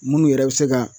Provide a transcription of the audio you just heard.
Munnu yɛrɛ bɛ se ka